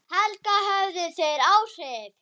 Helga: Höfðu þeir áhrif?